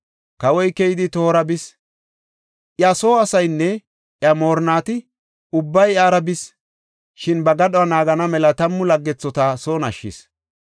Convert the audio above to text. Kawoy keydi tohora bis; iya soo asaynne iya moorinnati ubbay iyara bis; shin ba gadhuwa naagana mela tammu laggethota son ashshis.